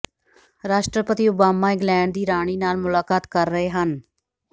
ਰਾਸ਼ਟਰਪਤੀ Obama England ਦੀ ਰਾਣੀ ਨਾਲ ਮੁਲਾਕਾਤ ਕਰ ਰਹੇ ਹਨ